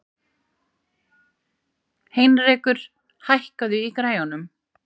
Heinrekur, hækkaðu í græjunum.